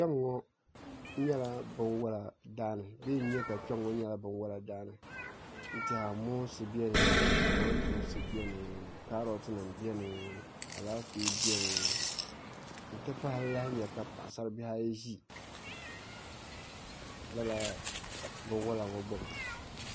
Kpɛŋŋo nyɛla binwola daani n tiɛha moonsi biɛni kamantoosi biɛni kaarot nim biɛni Alaafee biɛni n ti pahi m lahi nyɛ ka paɣasari bihi ayi ʒi lala binwola ŋo gbuni